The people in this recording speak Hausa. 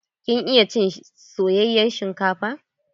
Kin iya cin soyayen shinkafa?